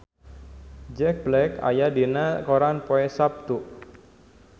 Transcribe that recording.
Jack Black aya dina koran poe Saptu